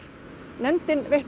nefndin veitti